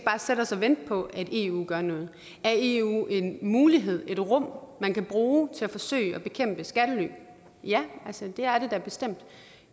sætte os og vente på at eu gør noget er eu en mulighed et rum man kan bruge til at forsøge at bekæmpe skattely ja det er det da bestemt